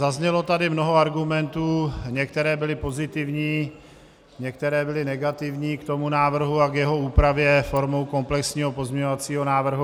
Zaznělo tady mnoho argumentů - některé byly pozitivní, některé byly negativní k tomu návrhu a k jeho úpravě formou komplexního pozměňovacího návrhu.